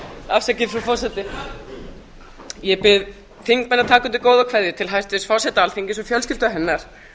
að taka undir góðar kveðjur til hæstvirts forseta alþingis og fjölskyldu hennar